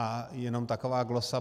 A jenom taková glosa.